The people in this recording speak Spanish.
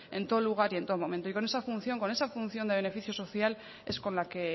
en todo lugar y en todo momento y con esa función con esa función de beneficio social es con la que